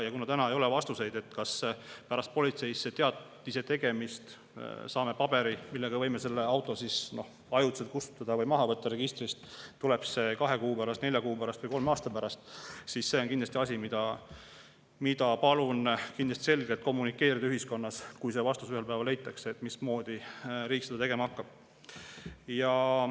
Ja kuna täna ei ole vastuseid, kas pärast politseisse teatise tegemist saame paberi, mille alusel võime selle auto registrist ajutiselt kustutada või maha võtta, tuleb see kahe kuu pärast, nelja kuu pärast või kolme aasta pärast, siis see on kindlasti asi, mida palun selgelt kommunikeerida ühiskonnas, kui see vastus ühel päeval leitakse, mismoodi riik seda tegema hakkab.